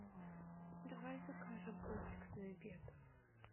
давай закажем комплексный обед